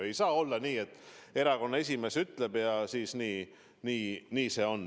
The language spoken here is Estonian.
Ei saa olla nii, et erakonna esimees ütleb, ja nii see ongi.